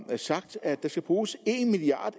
sagt at der skal bruges en milliard